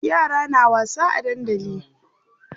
Yara na wasa a dandali.